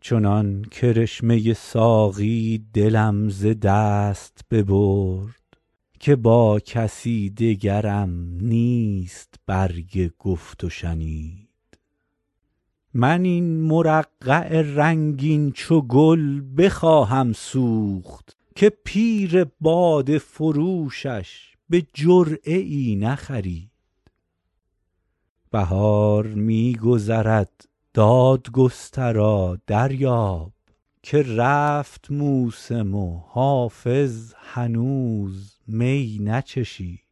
چنان کرشمه ساقی دلم ز دست ببرد که با کسی دگرم نیست برگ گفت و شنید من این مرقع رنگین چو گل بخواهم سوخت که پیر باده فروشش به جرعه ای نخرید بهار می گذرد دادگسترا دریاب که رفت موسم و حافظ هنوز می نچشید